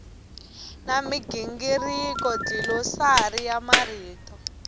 na migingiriko dlilosari ya marito